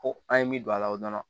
Ko an ye min don a la o dɔrɔn